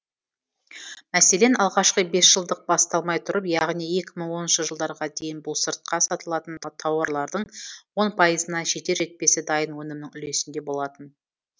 мәселен алғашқы бес жылдық басталмай тұрып яғни екі мың оныншы жылдарға дейін бұл сыртқа сатылатын тауарлардың он пайызына жетер жетпесі дайын өнімнің үлесінде болатын